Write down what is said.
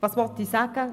Was will ich sagen?